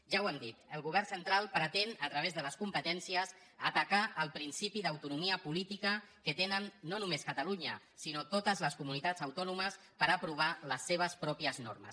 ja ho hem dit el govern central pretén a través de les competències atacar el principi d’autonomia política que tenen no només catalunya sinó totes les comunitats autònomes per aprovar les seves pròpies normes